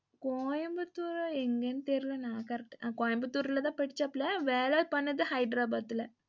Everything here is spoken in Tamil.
கோயம்புத்தூர் அ எங்கனு தெரில ன correct கோயம்புத்தூர்லதான் படிச்சாபுல, வேல பண்ணது ஹைதராபாத்ல.